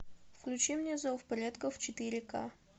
включи мне зов предков четыре к